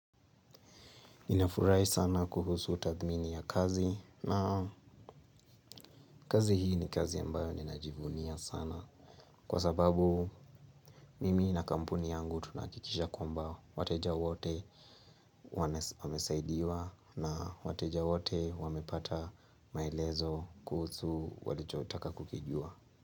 Ninafurahi sana kuhusu tathmini ya kazi na kazi hii ni kazi ambayo ninajivunia sana kwa sababu mimi na kampuni yangu tunahakikisha kwamba wateja wote wamesaidiwa na wateja wote wamepata maelezo kuhusu walichotaka kukijua.